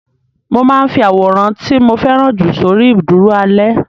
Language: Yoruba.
Mo máa ń fi àwòrán tí mo fẹ́ràn jù sórí ìdúró alẹ́.